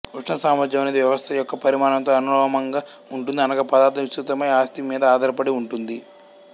ఉష్ణసామర్థ్యం అనేది వ్యవస్థ యొక్క పరిమాణంతో అనులోమంగా ఉంటుంది అనగా పదార్థం విస్తృతమైన ఆస్తి మీద ఆధారపడి ఉంటుంది